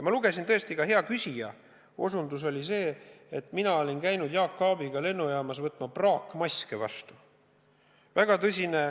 Ma lugesin ja ka hea küsija osutas sellele, et mina olin käinud Jaak Aabiga lennujaamas praakmaske vastu võtmas.